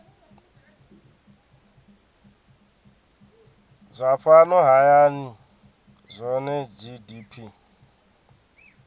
zwa fhano hayani zwohe gdp